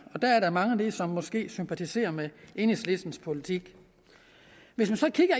og der er der mange som måske sympatiserer med enhedslistens politik hvis man så kigger